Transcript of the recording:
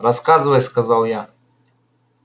рассказывай сказал я